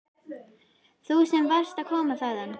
Þú sem varst að koma þaðan.